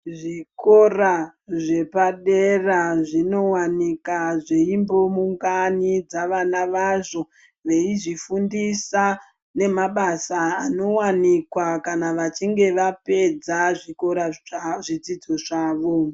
Zvikora zvepadera zvinowanika zveimbounganidza vana vazvo veizvifundisa nemabasa anowanikwa kana vachinge vapedza zvidzidzo zvavo.